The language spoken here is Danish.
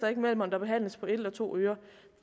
mellem om der behandles på et eller to ører